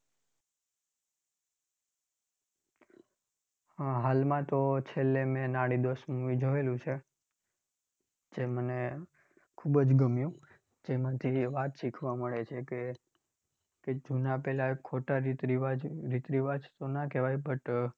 આહ હાલમાં તો છેલ્લે મેં નાડીદોષ movie જોયેલું છે. જે મને ખૂબ જ ગમ્યું. જેમાંથી વાત શીખવા મળે છે કે, કે જૂનાં પેલા ખોટા રીત રિવાજ, રીત રિવાજ તો ના કહેવાય but